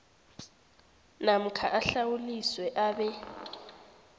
namkha ahlawuliswe abe